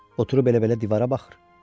Oturub elə-belə divara baxır?